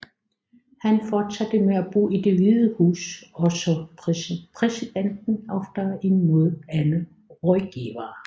Han fortsatte med at bo i Det Hvide Hus og så præsidenten oftere end nogen anden rådgiver